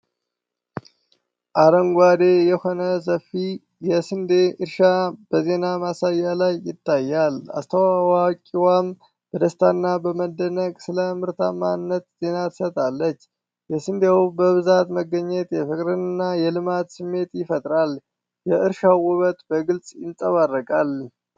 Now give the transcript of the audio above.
አረንጓዴ የሆነ ሰፊ የስንዴ እርሻ በዜና ማሳያ ላይ ይታያል። አስተዋዋቂዋ በደስታና በመደነቅ ስለ ምርታማነት ዜና ስትሰጥ፣ የስንዴው በብዛት መገኘት የፍቅርና የልማት ስሜት ይፈጥራል። የእርሻው ውበት በግልጽ ይንጸባረቃል።